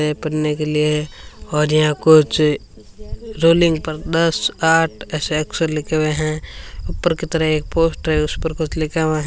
हैं पढ़ने से लिए और यहां कुछ रेलिंग पर दस आठ ऐसे अक्षर लिखे हुए हैं ऊपर कि तरफ एक पोस्टर है उस पर कुछ लिखा हुआ --